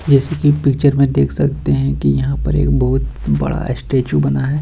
जैसे की पिक्चर में देख सकते है की यहाँ पर एक बहुत बड़ा स्टेचू बना है।